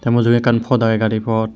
tey mujungey ekkan pot agey gari pot.